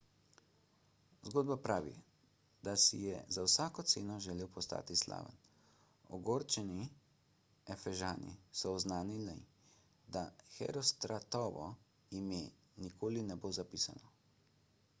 zgodba pravi da si je za vsako ceno želel postati slaven ogorčeni efežani so oznanili da herostratovo ime nikoli ne bo zapisano